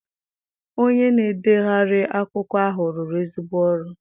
Onye na-edegharị akwụkwọ ahụ rụrụ ezigbo ọrụ.